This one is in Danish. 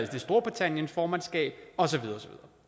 storbritanniens formandskab og så videre